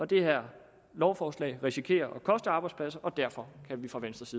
det her lovforslag risikerer at koste arbejdspladser og derfor kan vi fra venstres